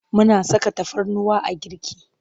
Muna saka tafarnuwa a girki.